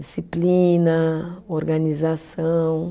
Disciplina, organização.